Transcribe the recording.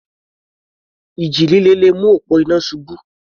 Ìjì líle le mú òpó iná ṣubú.